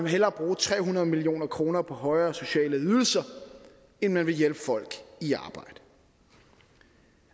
hellere bruge tre hundrede million kroner på højere sociale ydelser end man vil hjælpe folk i arbejde